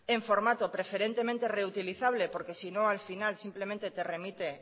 en formato preferentemente reutilizable porque sino al final simplemente te remite